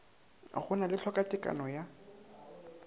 go na le tlhokatekano ya